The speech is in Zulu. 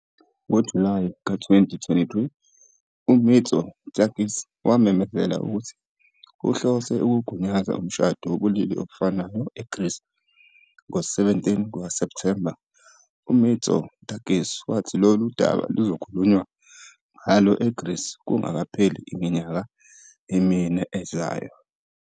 NgoJulayi 2023, uMitsotakis wamemezela ukuthi uhlose ukugunyaza Umshado wobulili obufanayo eGreece. Ngo-17 September, uMitsotakis wathi lolu daba luzokhulunywa ngalo eGreece kungakapheli iminyaka emine ezayo.